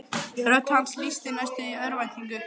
Rödd hans lýsti næstum því örvæntingu.